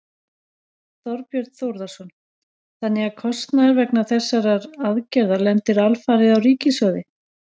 Þorbjörn Þórðarson: Þannig að kostnaður vegna þessarar aðgerðar lendir alfarið á ríkissjóði?